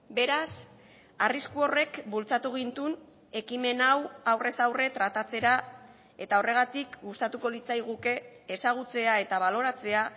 beraz arrisku horrek bultzatu gintuen ekimen hau aurrez aurre tratatzera eta horregatik gustatuko litzaiguke ezagutzea eta baloratzea